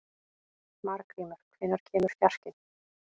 Margrímur, hvenær kemur fjarkinn?